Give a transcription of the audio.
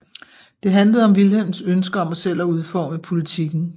Det handlede om Wilhelms ønske om selv at udforme politikken